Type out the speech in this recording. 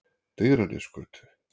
Digranesgötu